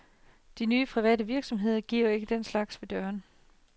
De nye private virksomheder giver ikke den slags ved dørene.